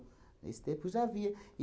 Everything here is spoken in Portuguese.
Nesse tempo já havia.